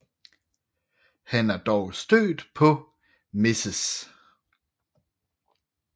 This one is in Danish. Han er dog stødt på Mrs